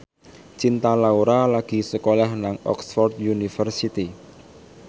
Cinta Laura lagi sekolah nang Oxford university